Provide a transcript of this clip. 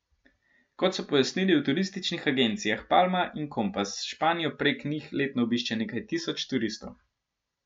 Kot so pojasnili v turističnih agencijah Palma in Kompas, Španijo prek njih letno obišče nekaj tisoč turistov.